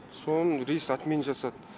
соның рейс отмен жасады